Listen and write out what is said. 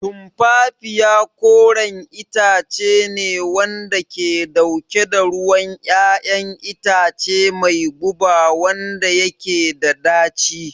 Tumfafiya koren itace ne wanda ke dauke da ruwan 'ya'yan itace mai guba wanda yake da daci